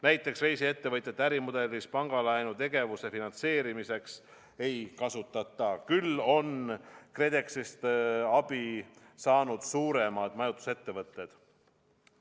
Näiteks reisiettevõtjate ärimudelis pangalaenu tegevuse finantseerimiseks ei kasutata, küll on KredExist abi saanud suuremad majutusettevõtted.